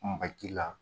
Maji la